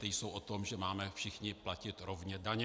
Ty jsou o tom, že máme všichni platit rovně daně.